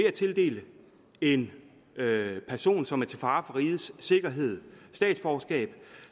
at tildele en person som er til fare for rigets sikkerhed statsborgerskab